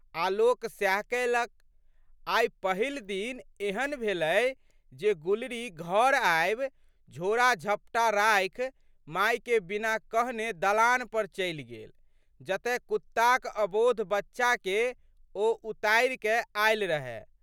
आलोक सएह कएलक। आइ पहिल दिन एहन भेलै जे गुलरी घर आबि झोड़ाजपटा राखि मायके बिना कहने दलान पर चलि गेल जतए कुत्ताक अबोध बच्चाके ओ उतारिकए आयल रहए।